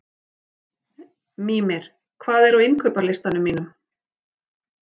Mímir, hvað er á innkaupalistanum mínum?